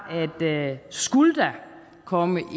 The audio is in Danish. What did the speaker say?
at skulle der komme